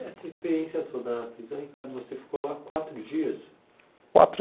E essa experiência toda na prisão, Ricardo, você ficou lá quatro dias? Quatro